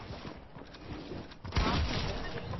Bhavnagar